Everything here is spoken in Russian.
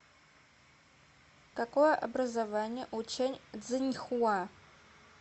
какое образование у чэнь цзиньхуа